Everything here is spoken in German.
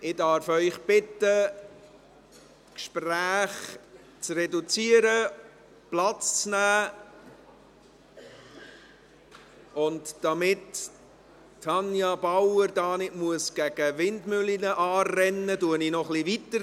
Ich darf Sie bitten, die Gespräche zu reduzieren, Platz zu nehmen, und damit Tanja Bauer hier nicht gegen Windmühlen anrennen muss, spreche ich gleich noch etwas weiter.